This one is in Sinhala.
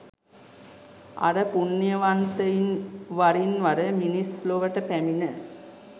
අර පුණ්‍යවන්තයින් වරින් වර මිනිස් ලොවට පැමිණ